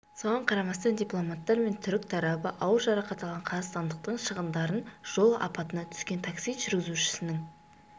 соған қарамастан дипломаттар мен түрік тарабы ауыр жарақат алған қазақстандықтың шығындарын жол апатына түскен такси жүргізушісінің